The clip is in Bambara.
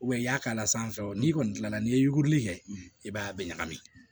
i y'a k'a la sisan o n'i kɔni kilala n'i ye yuguri kɛ i b'a bɛ ɲagami